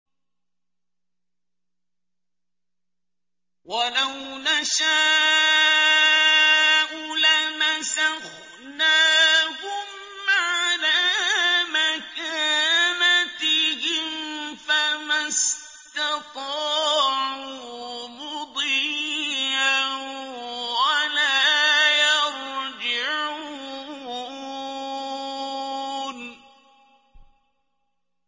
وَلَوْ نَشَاءُ لَمَسَخْنَاهُمْ عَلَىٰ مَكَانَتِهِمْ فَمَا اسْتَطَاعُوا مُضِيًّا وَلَا يَرْجِعُونَ